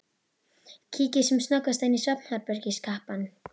Kíkir sem snöggvast inn í svefnherbergi kappans.